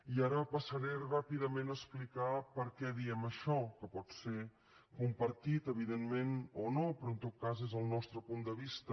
i ara passaré ràpidament a explicar per què diem això que pot ser compartit evidentment o no però en tot cas és el nostre punt de vista